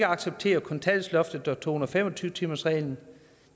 acceptere kontanthjælpsloftet og to hundrede og fem og tyve timersreglen